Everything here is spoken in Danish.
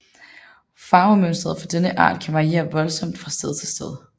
Farvemønsteret for denne art kan variere voldsomt fra sted til sted